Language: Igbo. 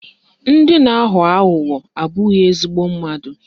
Ndị na-aghọ aghụghọ abụghị ezigbo mmadụ